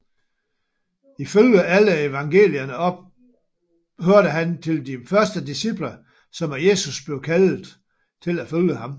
Ifølge alle evangelierne hørte han til de første disciple som af Jesus blev kaldede til at følge ham